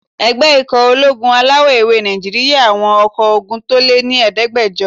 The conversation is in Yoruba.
Ẹgbẹ́ ikọ̀ ológun alawọ̀-ewé Nàìjíríyà àwọn ọkọ́ ogun tó lé ní ẹ̀ẹ́dẹ́gbàjọ